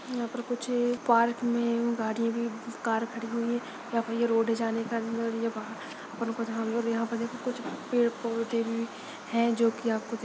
यहाँ पर कुछ पार्क में गाड़ियाँ भी कार खड़ी हुई है यहाँ पर ये रोड जाने का अंदर और यहाँ पर देखो कुछ पेड़ पौधे भी है जो की आपको--